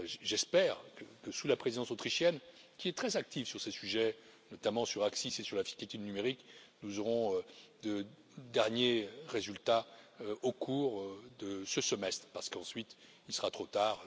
J'espère que sous la présidence autrichienne, qui est très active sur ces sujets, notamment sur l'ACCIS et sur la fiscalité du numérique, nous aurons de derniers résultats au cours de ce semestre, parce qu'ensuite il sera trop tard.